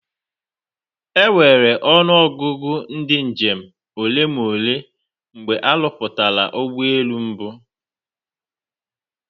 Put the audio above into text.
Enwere ọnụ ọgụgụ ndị njem ole na ole mgbe a rụpụtara ụgbọ elu mbụ